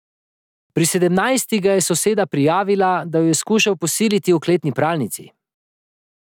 Pri sedemnajstih ga je soseda prijavila, da jo je skušal posiliti v kletni pralnici.